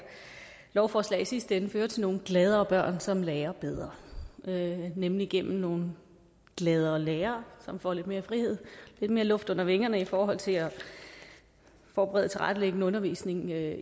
lovforslag i sidste ende fører til nogle gladere børn som lærer bedre nemlig gennem nogle gladere lærere som får lidt mere frihed lidt mere luft under vingerne i forhold til at forberede og tilrettelægge en undervisning der